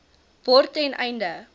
word ten einde